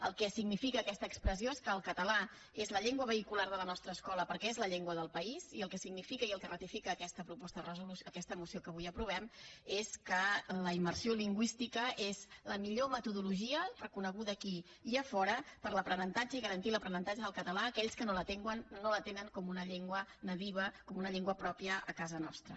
el que significa aquesta expressió és que el català és la llengua vehicular de la nostra escola perquè és la llengua del país i el que significa i el que ratifica aquesta moció que avui aprovem és que la immersió lingüística és la millor metodologia reconeguda aquí i a fora per a l’aprenentatge i garantir l’aprenentatge del català a aquells que no la tenen com una llengua nadiua com una llengua pròpia a casa nostra